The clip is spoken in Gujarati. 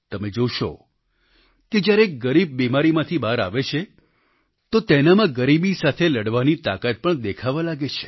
તમે જોશો કે જ્યારે એક ગરીબ બિમારીમાંથી બહાર આવે છે તો તેનામાં ગરીબી સાથે લડવાની તાકાત પણ દેખાવા લાગે છે